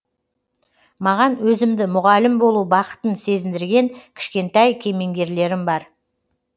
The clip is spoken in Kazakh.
маған өзімді мұғалім болу бақытын сезіндірген кішкентай кемеңгерлерім бар